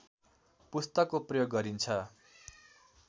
पुस्तकको प्रयोग गरिन्छ